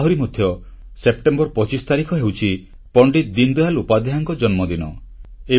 ଆହୁରି ମଧ୍ୟ ସେପ୍ଟେମ୍ବର 25 ତାରିଖ ହେଉଛି ପଣ୍ଡିତ ଦୀନଦୟାଲ ଉପାଧ୍ୟାୟଙ୍କ ଜନ୍ମଦିନ